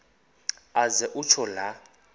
aze kutsho la